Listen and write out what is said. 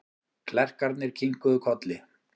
Klerkarnir kinkuðu kolli.